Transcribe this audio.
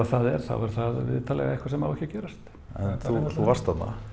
það er þá er það vitanlega eitthvað sem á ekki að gerast en þú varst þarna